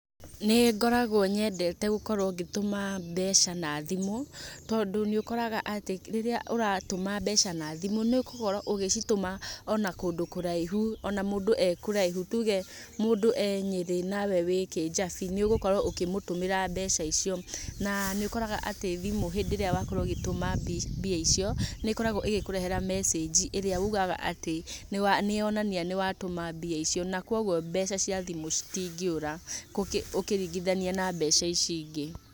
Nĩngoragwo nyendete gũkorwo ngĩtũma mbeca na thimũ, tondũ nĩ ũkoraga atĩ rĩrĩa ũratũma mbeca na thimũ, nĩũgũkorwo ũgĩcitũma ona kũndũ kũraihu ona mũndũ e kũraihu, tuge mũndũ e Nyiri nawe wĩ Kijabi nĩũgũkorwo ukĩmũtũmĩra mbeca icio. Na nĩũkoraga atĩ thimũ hĩndĩ ĩrĩa wakorwo ũgĩtũma mbia icio nĩ ĩkoragwo ĩgĩkũrehera message ĩrĩa ũgaga atĩ nĩyonania nĩwatũma mbia icio na kwogwo mbeca cia thimũ citingĩũra, ũkĩringithania na mbeca ici ingĩ.